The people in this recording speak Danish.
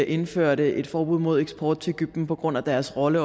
indførte et forbud mod eksport til egypten på grund af deres rolle